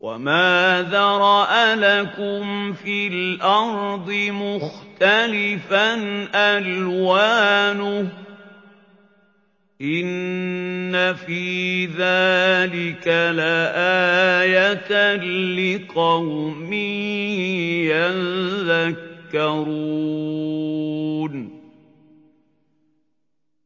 وَمَا ذَرَأَ لَكُمْ فِي الْأَرْضِ مُخْتَلِفًا أَلْوَانُهُ ۗ إِنَّ فِي ذَٰلِكَ لَآيَةً لِّقَوْمٍ يَذَّكَّرُونَ